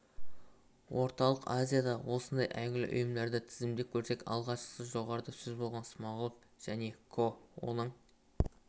орталық азиядағы осындай әйгілі ұйымдарды тізімдеп көрсек алғашқысы жоғарыда сөз болған смағұлов және ко оның